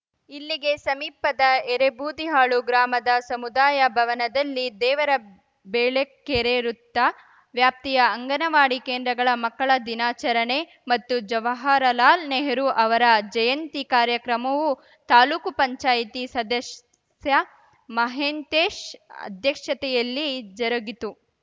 ಇಲ್ಲಿಗೆ ಸಮೀಪದ ಎರೇಬೂದಿಹಾಳು ಗ್ರಾಮದ ಸಮುದಾಯ ಭವನದಲ್ಲಿ ದೇವರಬೆಳಕೆರೆ ವೃತ್ತ ವ್ಯಾಪ್ತಿಯ ಅಂಗನವಾಡಿ ಕೇಂದ್ರಗಳ ಮಕ್ಕಳ ದಿನಾಚರಣೆ ಮತ್ತು ಜವಾಹರ ಲಾಲ್‌ ನೆಹರೂ ಅವರ ಜಯಂತಿ ಕಾರ್ಯಕ್ರಮವು ತಾಲೂಕುಪಂಚಾಯ್ತಿ ಸದಸ್ಯ ಮಹಂತೇಶ್‌ ಅಧ್ಯಕ್ಷತೆಯಲ್ಲಿ ಜರುಗಿತು